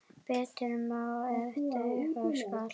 Betur má ef duga skal.